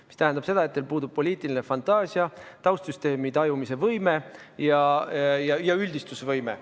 Mis tähendab seda, et teil puudub poliitiline fantaasia, taustsüsteemi tajumise võime ja üldistusvõime.